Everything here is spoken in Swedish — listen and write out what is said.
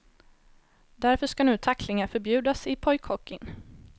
Därför ska nu tacklingar förbjudas i pojkhockeyn.